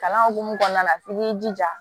Kalan hukumu kɔnɔna la f'i k'i jija